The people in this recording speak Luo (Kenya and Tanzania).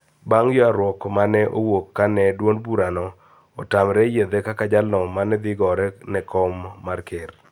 Bang` ywaruok ma ne owuok ka ne duond bura no otamre yiedhe kaka jalno ma dhi gore ne kom mar ker